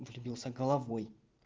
влюбился головой